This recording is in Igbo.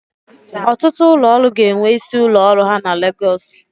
Ọtụtụ ụlọ ọrụ ga-enwe isi ụlọ ọrụ ha na Legọs.